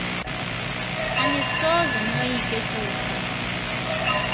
anisoze noyike kufa